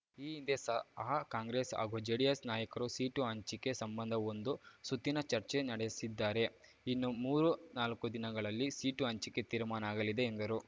ಈ ಹಿಂದೆ ಸಹ ಕಾಂಗ್ರೆಸ್ ಹಾಗೂ ಜೆಡಿಎಸ್ ನಾಯಕರು ಸೀಟು ಹಂಚಿಕೆ ಸಂಬಂಧ ಒಂದು ಸುತ್ತಿನ ಚರ್ಚೆ ನಡಸಿದ್ದಾರೆ ಇನ್ನು ಮೂರುನಾಲ್ಕು ದಿನಗಳಲ್ಲಿ ಸೀಟು ಹಂಚಿಕೆ ತೀರ್ಮಾನ ಆಗಲಿದೆ ಎಂದರು